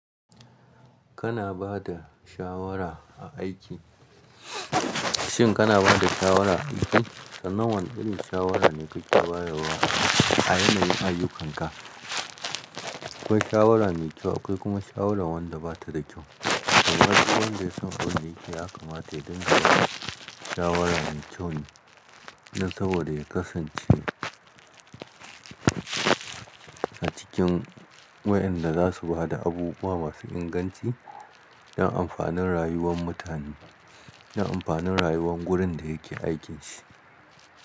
Kana ba da shawara a aiki, shin kana ba da shawara aiki? Sannan, wane irin shawara ne kake bayarwa a yanayin ayyukanka? Akwai shawara mai kyau akwai kuma shawara wadda batada kyau. Nan gaba duk wanda ya san ƙa'uder yake ya kamata ya daina ba da shawara mai kyau ne, nan saboda ya kasance a cikin wayanda za su ba da abubuwa masu inganci don amfanin rayuwar mutane, don amfanin rayuwar gurin da yake aikin shi.